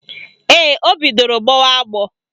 Ee, o bidoro gbọwa agbọ